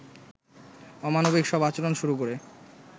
অমানবিক সব আচরণ শুরু করে